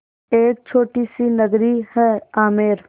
एक छोटी सी नगरी है आमेर